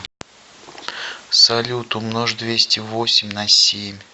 салют умножь двести восемь на семь